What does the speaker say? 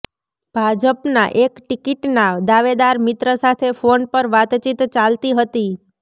ભાજપના એક ટીકીટના દાવેદાર મિત્ર સાથે ફોન પર વાતચીત ચાલતી હતી